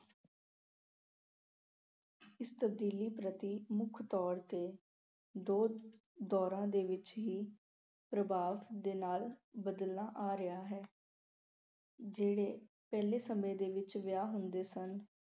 ਇਸ ਤਬਦੀਲੀ ਪ੍ਰਤੀ ਮੁੱਖ ਤੌਰ ਤੇ ਦੋ ਦੌਰਾਂ ਦੇ ਵਿੱਚ ਹੀ ਪ੍ਰਭਾਵ ਦੇ ਨਾਲ ਬਦਲਣਾ ਆ ਰਿਹਾ ਹੈ ਜਿਹੜੇ ਪਹਿਲੇ ਸਮੇਂ ਦੇ ਵਿੱਚ ਵਿਆਹ ਹੁੰਦੇ ਸਨ